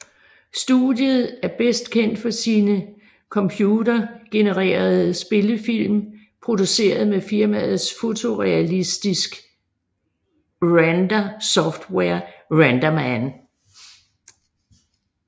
Studiet er bedst kendt for sine computergenererede spillefilm produceret med firmaets fotorealistisk render software RenderMan